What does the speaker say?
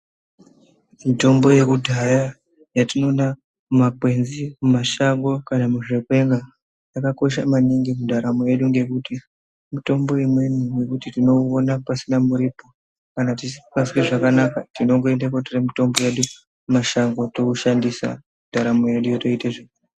Mitombo yekudhaya yatinoona mumakwenzi, mumashango kana muzvikwena yakakosha maningi mundaramo yedu ngekuti mitombo imweni yekuti tinoiona pasina muripo kana tisingazwi zvakanaka tinongoende kunotora mitombo yedu mumashango toishandisa ndaramo yedu yotoita zva.